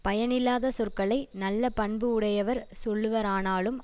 பயனில்லாத சொற்களை நல்ல பண்பு உடையவர் சொல்லுவாரானாலும்